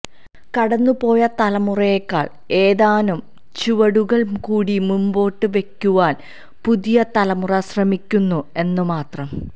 കടന്നുപോയ തലമുറയേക്കാൾ ഏതാനും ചുവടുകൾ കൂടി മുമ്പോട്ട് വെക്കുവാന് പുതിയ തലമുറ ശ്രമിക്കുന്നു എന്ന് മാത്രം